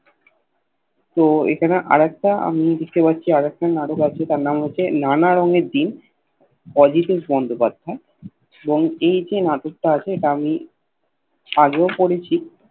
তো এইখানে আর একটা আমি দেখতে পাচ্ছি আর একটা নাটক আছে তার নাম হচ্ছে নানা রঙে দিন অজিতেশ বন্দ্যোপাধ্যায় এবং এই যে নাটক তা আছে এটা আমি আগেও পড়েছি